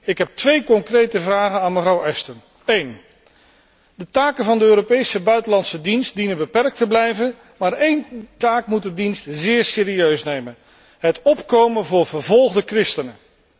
Ik heb twee concrete vragen aan mevrouw Ashton. Ten eerste, de taken van de Europese buitenlandse dienst dienen beperkt te blijven, maar één taak moet de dienst zeer serieus nemen het opkomen voor vervolgde christenen.